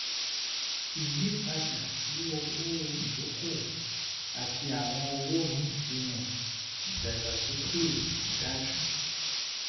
ìyípadà sí owó ìdókòwò àti àwọn òwò míì fihan ìdàgbàsókè tó dájú